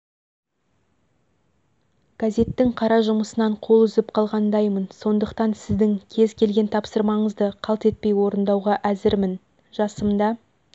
газеттің қара жұмысынан қол үзіп қалғандаймын сондықтан сіздің кез келген тапсырмаңызды қалт етпей орындауға әзірмін жасымда